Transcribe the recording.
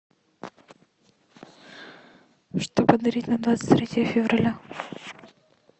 что подарить на двадцать третье февраля